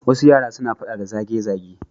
Wasu yara suna faɗa da zage-zage.